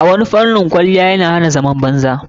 A wani fanin kuma kwaliyya na hana zaman banza.